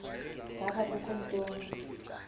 ngaba kukho ntoni